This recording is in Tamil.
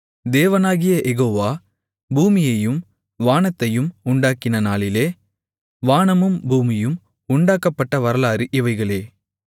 தேவனாகிய யெகோவா பூமியையும் வானத்தையும் உண்டாக்கின நாளிலே வானமும் பூமியும் உண்டாக்கப்பட்ட வரலாறு இவைகளே